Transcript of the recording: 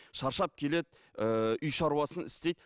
шаршап келеді ііі үй шаруасын істейді